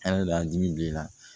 Ala de y'an dimi don i la